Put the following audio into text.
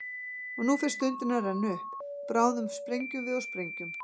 Og nú fer stundin að renna upp, bráðum sprengjum við og sprengjum.